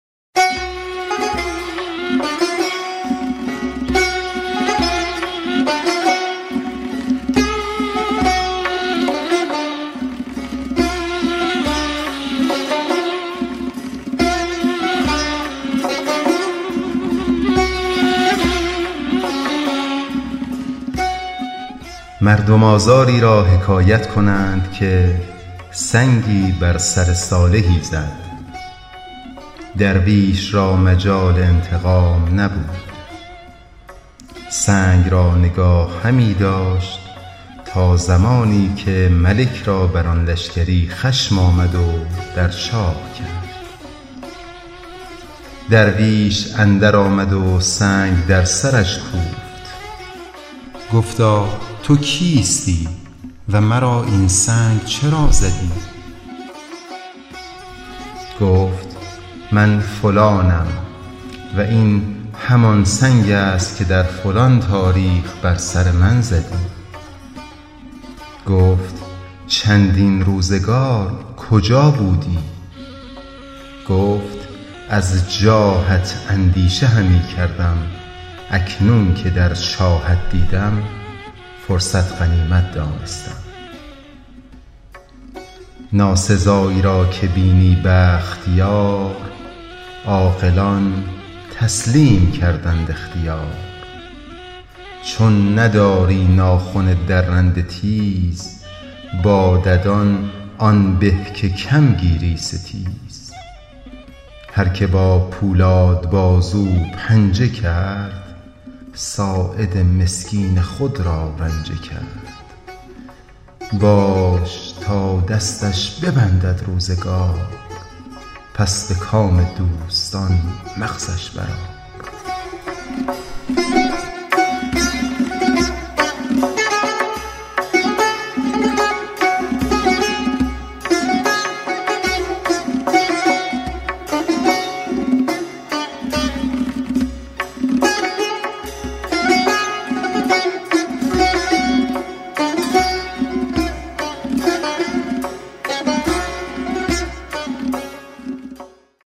مردم آزاری را حکایت کنند که سنگی بر سر صالحی زد درویش را مجال انتقام نبود سنگ را نگاه همی داشت تا زمانی که ملک را بر آن لشکری خشم آمد و در چاه کرد درویش اندر آمد و سنگ در سرش کوفت گفتا تو کیستی و مرا این سنگ چرا زدی گفت من فلانم و این همان سنگ است که در فلان تاریخ بر سر من زدی گفت چندین روزگار کجا بودی گفت از جاهت اندیشه همی کردم اکنون که در چاهت دیدم فرصت غنیمت دانستم ناسزایی را که بینی بخت یار عاقلان تسلیم کردند اختیار چون نداری ناخن درنده تیز با ددان آن به که کم گیری ستیز هر که با پولاد بازو پنجه کرد ساعد مسکین خود را رنجه کرد باش تا دستش ببندد روزگار پس به کام دوستان مغزش بر آر